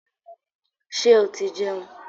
Ṣé o ti jẹun?